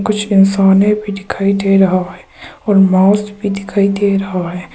कुछ इंसाने भी दिखाई दे रहा है और माउस भी दिखाई दे रहा है।